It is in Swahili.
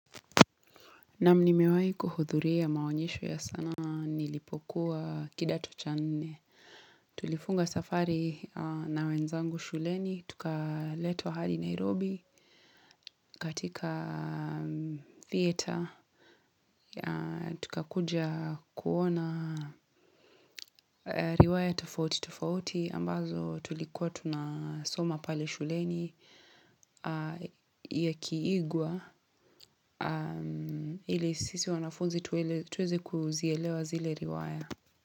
Naam, nimewahi kuhudhuria maonyesho ya sanaa nilipokuwa kidato cha nne. Tulifunga safari na wenzangu shuleni. Tukaletwa hadi Nairobi katika theater, tukakuja kuona riwaya tofauti tofauti. Ambazo tulikuwa tunasoma pale shuleni yakiigwa. Ili sisi wanafunzi tuweze kuzielewa zile riwaya.